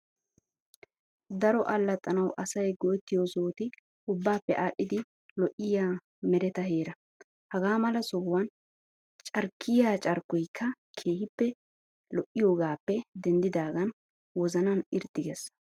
Daro allaxxanawu asayi go"ettiyoo sohoti ubbaape aadhdhidi lo'iyayi mereta heeraa. Hagaa mala sohuwaan carkkiyaa carkkoyikka keehippe lo'yiyoogaappe denddidaagan wozanan irxxi ges.